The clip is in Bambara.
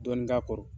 Dɔɔnin k'a kɔrɔ